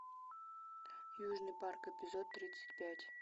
южный парк эпизод тридцать пять